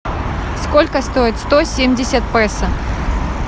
сколько стоит сто семьдесят песо